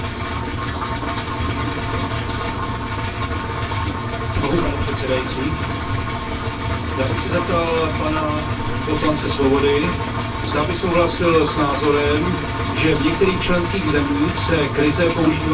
Pane předsedající, já bych se zeptal pana poslance Swobody, zda by souhlasil s názorem, že v některých členských zemích se krize používá jako nástroj plíživého vyvlastňování obyvatel.